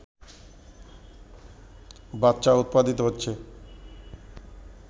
বাচ্চা উৎপাদিত হচ্ছে